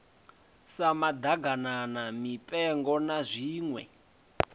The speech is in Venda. sa maḓaganana mipengo na zwiṋwe